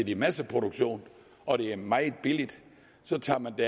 i masseproduktion og det er meget billigt så tager man det